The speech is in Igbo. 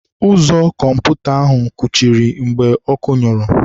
Ụzọ kọmputa ahụ kụchiri mgbe ọkụ nyụrụ.